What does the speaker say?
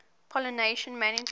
pollination management